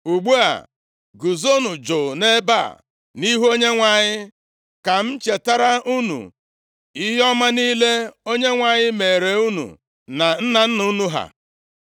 Ugbu a, guzonụ jụ nʼebe a nʼihu Onyenwe anyị ka m chetara unu ihe ọma niile Onyenwe anyị meere unu na nna nna unu ha.